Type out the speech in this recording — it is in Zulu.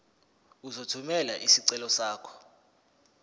uzothumela isicelo sakho